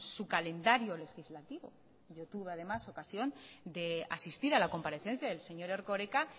su calendario legislativo yo tuve además ocasión de asistir a la comparecencia del señor erkoreka